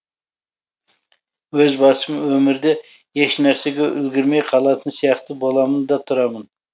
өз басым өмірде ешнәрсеге үлгермей қалатын сияқты боламын да тұрамын